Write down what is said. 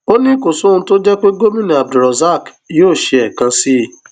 ó ní kò sóhun tó jọ pé gómìnà abdulrozak yóò ṣe ẹẹkan sí i